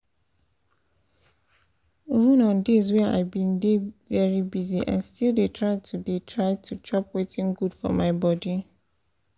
even on days wey i been dey very busy i still dey try to dey try to chop wetin good for my body